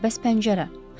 Bəs pəncərə?